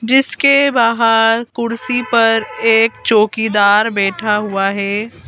जिसके बाहर कुर्सी पर एक चौकीदार बैठा हुआ है।